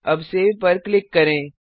अब सेव पर क्लिक करें